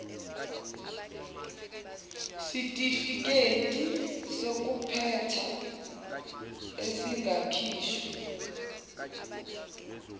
sitifiketi sokuphetha esingakhishwa